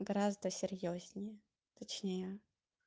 гораздо серьёзнее точнее